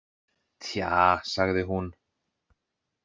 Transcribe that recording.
Tja, sagði hún.